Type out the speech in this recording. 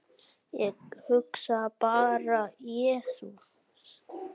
Ég hugsaði bara, jesús!